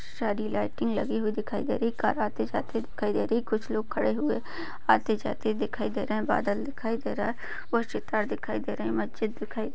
सारी लाइटिंग लगी हुई दिखाई दे रही कार आते-जाते हुए दिखाई दे रही कुछ लोग खड़े हुए आते जाते दिखाई दे रहे है बादल दिखाई दे रहा है वह चित्र दिखाई दे रहे है मस्जिद दिखाई दे रही--